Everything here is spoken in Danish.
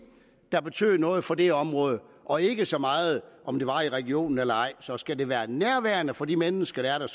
der betød noget for det område og ikke så meget om det var i regionen eller ej så skal det være nærværende for de mennesker der er der